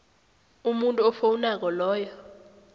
umuntu ofowunako loyo